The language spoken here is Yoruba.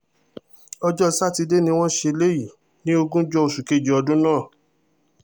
ọjọ́ sátidé ni wọ́n ṣe eléyìí ní ogúnjọ́ oṣù kejì ọdún náà